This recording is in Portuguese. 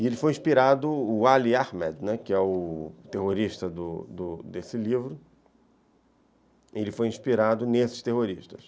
E ele foi inspirado, o Ali Ahmed, que é o terrorista desse livro, ele foi inspirado nesses terroristas.